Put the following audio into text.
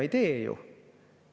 Ei tee ju.